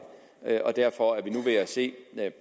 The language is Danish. og derfor er vi nu ved at se